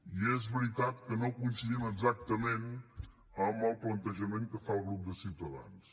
i és veritat que no coincidim exactament amb el plantejament que fa el grup de ciutadans